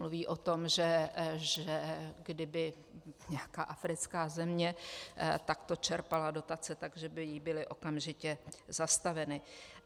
Mluví o tom, že kdyby nějaká africká země takto čerpala dotace, že by jí byly okamžitě zastaveny.